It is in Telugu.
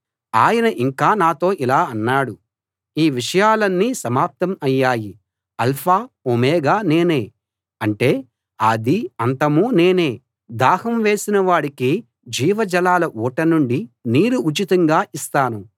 ఆయన ఇంకా నాతో ఇలా అన్నాడు ఈ విషయాలన్నీ సమాప్తం అయ్యాయి ఆల్ఫా ఒమేగా నేనే అంటే ఆదీ అంతమూ నేనే దాహం వేసిన వాడికి జీవ జలాల ఊట నుండి నీరు ఉచితంగా ఇస్తాను